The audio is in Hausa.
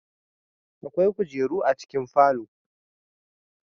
Akwai kujeru a cikin falo